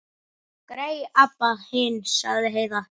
Grey Abba hin, sagði Heiða.